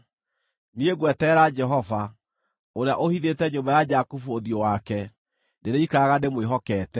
Niĩ ngweterera Jehova, ũrĩa ũhithĩte nyũmba ya Jakubu ũthiũ wake. Ndĩrĩikaraga ndĩmwĩhokete.